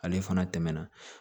Ale fana tɛmɛna